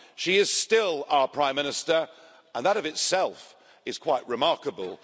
She is still our Prime Minister, and that of itself is quite remarkable.